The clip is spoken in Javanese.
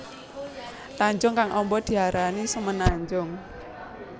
Tanjung kang amba diarani semenanjung